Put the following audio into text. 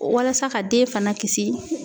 Walasa ka den fana kisi